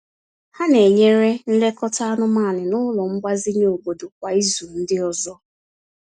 Ha na-enyere nlekọta anụmanụ n’ụlọ mgbazinye obodo kwa ịzu ndi ọzọ.